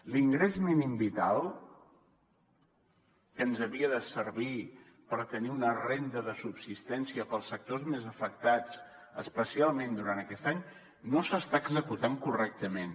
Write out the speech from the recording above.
l’ingrés mínim vital que ens havia de servir per tenir una renda de subsistència per als sectors més afectats especialment durant aquest any no s’està executant correctament